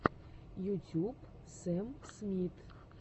ютюб сэм смит